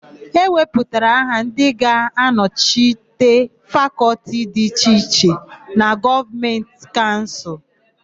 E wepụtara aha ndị ga-anọchite Fakọltị dị iche iche na Gọvanịn Kaụnsụl.